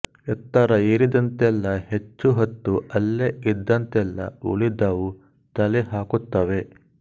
ಎತ್ತರ ಏರಿದಂತೆಲ್ಲ ಹೆಚ್ಚು ಹೊತ್ತು ಅಲ್ಲೇ ಇದ್ದಂತೆಲ್ಲ ಉಳಿದವೂ ತಲೆಹಾಕುತ್ತವೆ